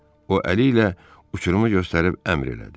O, əli ilə uçurumu göstərib əmr elədi.